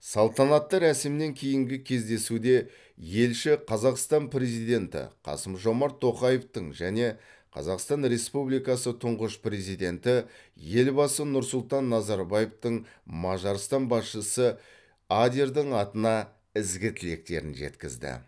салтанатты рәсімнен кейінгі кездесуде елші қазақстан президенті қасым жомарт тоқаевтың және қазақстан республикасы тұңғыш президенті елбасы нұрсұлтан назарбаевтың мажарстан басшысы адердің атына ізгі тілектерін жеткізді